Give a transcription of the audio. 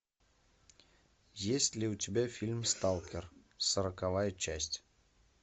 есть ли у тебя фильм сталкер сороковая часть